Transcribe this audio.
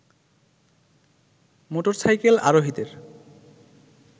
motorcycle আরোহীদের